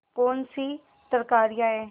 कौनसी तरकारियॉँ हैं